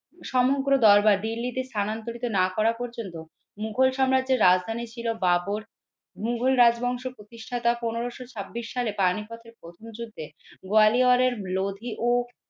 সমগ্র দরবার দিল্লিতে স্থানান্তরিত না করা পর্যন্ত মুঘল সাম্রাজ্যের রাজধানী ছিল বাবর। মুঘল রাজবংশ প্রতিষ্ঠাতা পনেরোশো ছাব্বিশ সালে পানিপথের প্রথম যুদ্ধে গোয়ালিয়রের লোধি ও